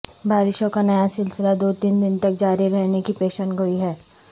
بارشوں کا نیا سلسلہ دو تین دن تک جاری رہنے کی پیشن گوئی ہے